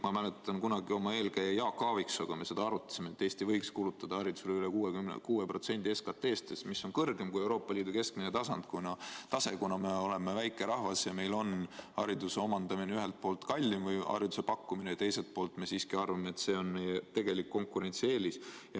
Ma mäletan, kui me kunagi minu eelkäija Jaak Aaviksooga seda arutasime, et Eesti võiks kulutada haridusele üle 6% SKT-st, mis on kõrgem kui Euroopa Liidu keskmine tase, kuna me oleme väike rahvas ja meil on hariduse omandamine ja pakkumine ühelt poolt kallim ja teiselt poolt me siiski arvame, et see on meie tegelik konkurentsieelis.